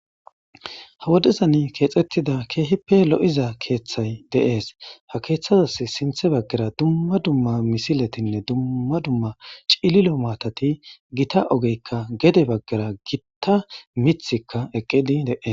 ha wodezani keexettida keeheppe lo7iza keeththay deees ha keeththazas sinthe baggara dumma dumma misiletinne dumma dumma cililo maatati gita ogeykka gede baggara gitta mithikka eqqidi dees